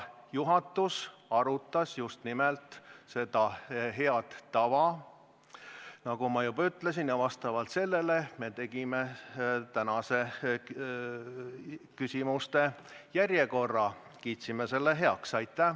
Juhatus arutas just nimelt seda head tava, nagu ma juba ütlesin, ning selle põhjal me tegime tänase küsimuste järjekorra ja kiitsime selle heaks.